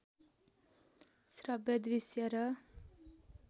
श्रब्य दृश्य र